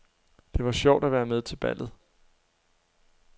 Det var sjovt at være med til ballet.